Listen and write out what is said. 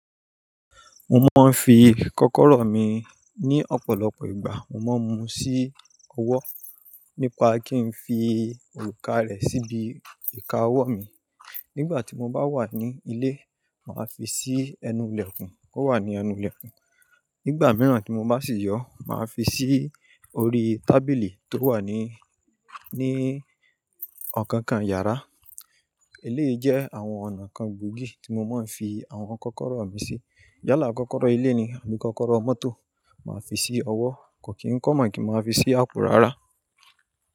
Mo máa ń fi kọ́kọ́rọ́ mi ní ọ̀pọ̀lọpọ̀ ìgbà. Mo máa ń mu sí ọwọ́ nípa kí n fi òrùka rẹ̀ síbi ìka ọwọ́ mi. Nígbà tí mo bá wà ní ilé, màá fi sí ẹnu ilẹ̀kùn, ó wà ní ẹnu ilẹ̀kùn. Nígbà mìíràn tí mo bá sì yọ, màá fi sí orí tábìlì tó wà ní, ní ọ̀kankan yàrá. Eléyìí jẹ́ àwọn ọ̀nà kan gbòógì tí mo máa ń fi àwọn kọ́kọ́rọ́ mi sí. Yálà kọ́kọ́rọ́ ilé ni àbí kọ́kọ́rọ́ mọ́tò, màá fi sí ọwọ́. Kò kí n kọ́ mọ̀ kí n máa fi sí àpò rárá.